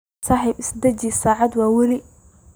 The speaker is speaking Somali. Saxib isdaji saata waweli.